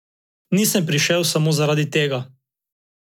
Nisem prišel samo zaradi tega.